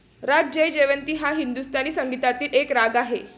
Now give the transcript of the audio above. राग जयजयवंती हा हिंदुस्थानी संगीतातील एक राग आहे.